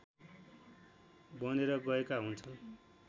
बनेर आएका हुन्छन्